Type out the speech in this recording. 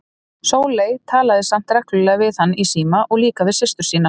Sóley talaði samt reglulega við hann í síma og líka við systur sínar.